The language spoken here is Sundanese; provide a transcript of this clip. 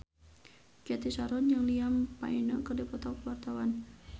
Cathy Sharon jeung Liam Payne keur dipoto ku wartawan